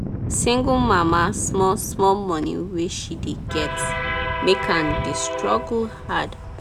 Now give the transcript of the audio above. single mama small small money wey she dey get make am dey struggle hard